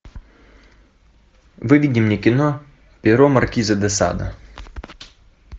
выведи мне кино перо маркиза де сада